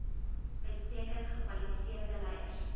uitstekend gekwalifiseerde leiers